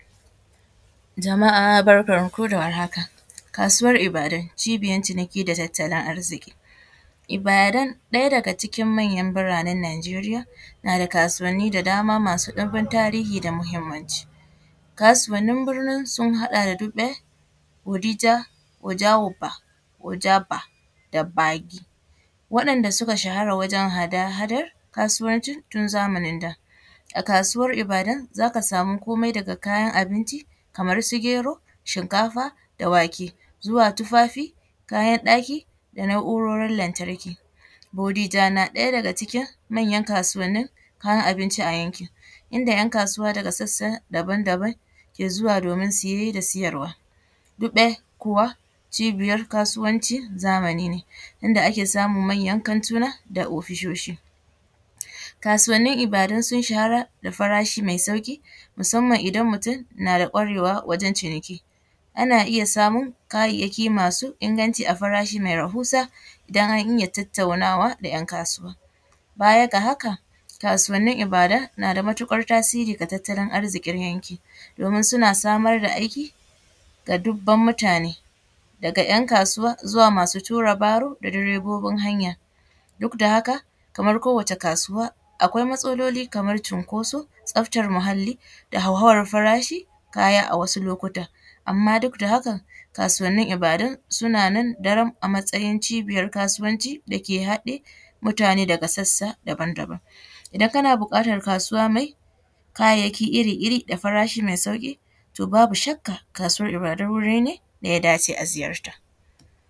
Jama’a barkanku da warhaka. Kasuwan Ibadan cibiyan ciniki da tattalin arziƙi. Ibadan ɗaya daga cikin manyan biranen Najeriya na da kasuwanni da dama masu ɗimbin tarihi da mahimmanci. Kasuwannin birnin sun haɗa da dugbe, bodija, oja oba, oja’ba da gbagi, waɗanda suka shahara wajen hada-hadar kasuwancin tun zamanin da. A kasuwar Ibadan za ka samu komai daga ayan abinci kamar su; gero, shinkafa da wake, zuwa tufafi, kayan ɗaki da na’urorin lantarki. Bodija na ɗaya daga cikin manyan kasuwanin kayan abinci a yankin, inda ‘yan kasuwa daga sassa daban-daban ke zuwa domin siye da sayarwa. Dugbe kuwa cibiyar kasuwancin zamani ne, inda ake samun manyan kantuna da ofisoshi. Kasuwannin Ibadan sun shahara da farashi mai sauƙi musamman idan mutum na da ƙwarewa wajen ciniki, ana iya samun kayyayaki masu inganci a farashi mai rahusa idan an iya tattaunawa da ‘yan kasuwa. Baya ga haka, kasuwannin Ibadan na da matuƙar tasiri ga tattalin arziƙir yankin, domin suna samar da aiki ga dubban mutane, daga ‘yan kasuwa, zuwa masu tura baro da direbobin hanya. Duk da haka kamar kowace kasuwa akwai matsaloli kamar cunkoso, tsaftar muhalli da hauhawar farashi kaya a wasu lokuta. Amma duk da hakan kasuwannin Ibadan suna nan daram a matsayin cibiyar kasuwanci dake haɗe mutane daga sassa daban-daban. Idan kana buƙatar kasuwa mai kayayyaki iri-iri da farashi mai sauƙi to babu shakka kasuwar Ibadan wuri ne da ya dace a ziyarta.